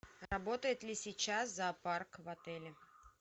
работает ли сейчас зоопарк в отеле